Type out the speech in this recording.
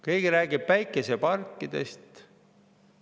Keegi räägib päikeseparkidest.